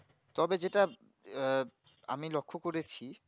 তবে যেটা আঃ আমি লক্ষ্য করেছি